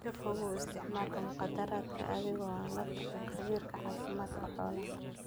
Ka fogow isticmaalka mukhaadaraadka adiga oo aan la talin khabiirka caafimaadka xoolaha.